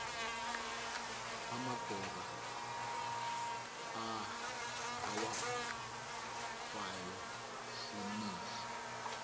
amagora awafayo simise